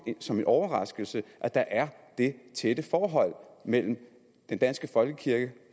som en overraskelse at der er det tætte forhold mellem den danske folkekirke